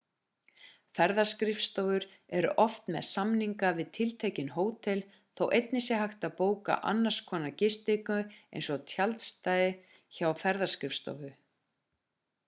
ferðaskrifskofur eru oft með samninga við tiltekinn hótel þó einnig sé hægt að bóka annars skonar gistingu eins og tjaldstæði hjá ferðaskrifstofu